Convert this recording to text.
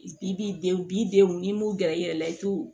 I b'i denw b'i denw n'i m'u gɛrɛ i yɛrɛ la i t'u